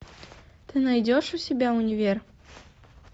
ты найдешь у себя универ